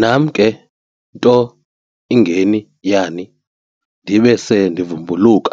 Nam ke nto ingeni yani, ndibe se ndivumbuluka